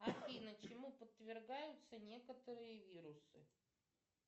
афина чему подвергаются некоторые вирусы